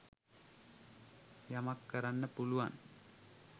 යමක් කරන්න පුළුවන්